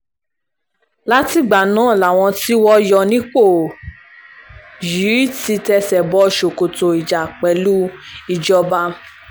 látìgbà náà làwọn tí wọ́n yọ nípò yìí ti tẹsẹ̀ bọ ṣòkòtò ìjà pẹ̀lú ìjọba